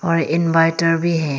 व इनवर्टर भी है।